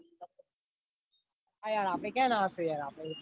હા યાર આપડી ક્યાં ના હોય આપદ